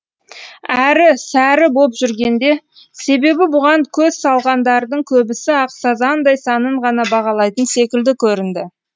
әрі сәрі боп жүргенде себебі бұған көз салғандардың көбісі ақ сазандай санын ғана бағалайтын секілді көрінді